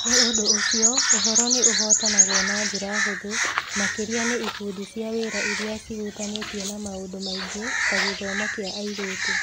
Nĩ ũndũ ũcio, ũhoro nĩ ũhootanagwo na njĩra hũthũ, makĩria nĩ ikundi cia wĩra iria ciĩhutanĩtie na maũndũ maingĩ ta gĩthomo kĩa airĩtu.